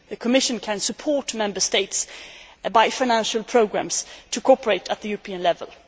The Commission can support Member States by financial programmes to cooperate at a European level.